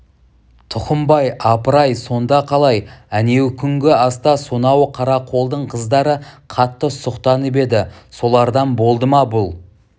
тұқымбай апыр-ай сонда қалай әнеукүнгі аста сонау қарақолдың қыздары қатты сұқтанып еді солардан болды ма бұл